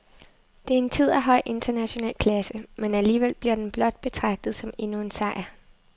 Det er en tid af høj international klasse, men alligevel bliver den blot betragtet som endnu en sejr.